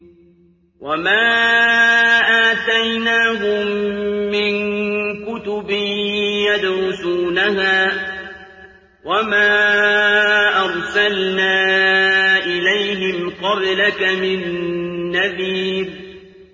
وَمَا آتَيْنَاهُم مِّن كُتُبٍ يَدْرُسُونَهَا ۖ وَمَا أَرْسَلْنَا إِلَيْهِمْ قَبْلَكَ مِن نَّذِيرٍ